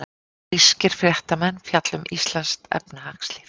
Grískir fréttamenn fjalla um íslenskt efnahagslíf